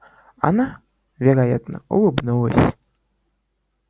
она вероятно улыбнулась